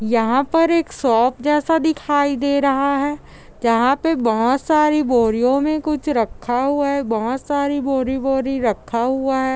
यहाँ पर एक शॉप जैसे दिखाई दे रहा है यहाँ पे बहुत सारी बोरियो में कुछ रखा हुआ है बहुत सारी बोरी बोरी रखा हुआ है ।